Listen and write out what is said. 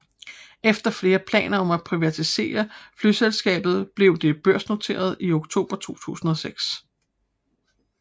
Efter flere planer om at privatisere flyselskabet blev det børsnoteret i oktober 2006